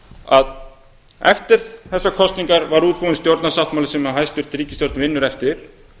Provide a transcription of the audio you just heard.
að eftir þessar kosningar var útbúinn stjórnarsáttmáli sem hæstvirt ríkisstjórn vinnur eftir